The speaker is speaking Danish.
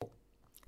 DR P3